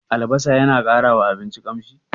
Albasa yana ƙara wa abinci ƙamshi?